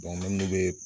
n'olu bɛ